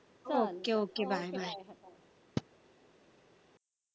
Okay okaybye